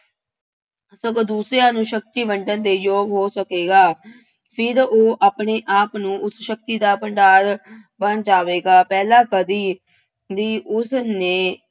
ਸਗੋਂ ਦੂਸਰਿਆਂ ਨੂੰ ਸ਼ਕਤੀ ਵੰਡਣ ਦੇ ਯੋਗ ਹੋ ਸਕੇਗਾ। ਫਿਰ ਉਹ ਆਪਣੇ ਆਪ ਨੂੰ ਉਸ ਸ਼ਕਤੀ ਦਾ ਭੰਡਾਰ ਬਣ ਜਾਵੇਗਾ। ਪਹਿਲਾ ਕਦੀ ਵੀ ਉਸਨੇ